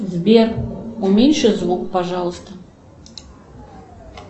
сбер уменьши звук пожалуйста